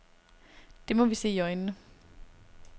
Det må vi se i øjnene.